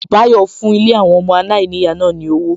Bayo fún Ilé àwọn ọmọ aláìníyàá náà ní owó